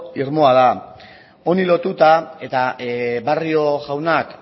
irmoa da honi lotuta eta barrio jaunak